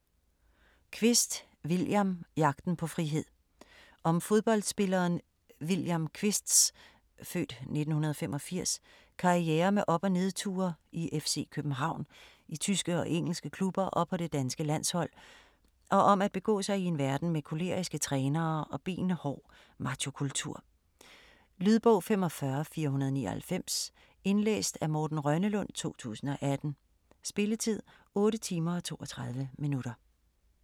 Kvist, William: Jagten på frihed Om fodboldspilleren William Kvists (f. 1985) karriere med op- og nedture i FC København, i tyske og engelske klubber og på det danske landshold, og om at begå sig i en verden med koleriske trænere og benhård machokultur. Lydbog 45499 Indlæst af Morten Rønnelund, 2018. Spilletid: 8 timer, 32 minutter.